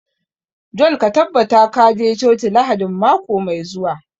John ka tabbata ka je coci Lahadin mako mai zuwa